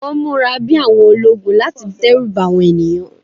Wọ́n múra bí àwọn ológun láti dẹ́rù ba àwọn ènìyàn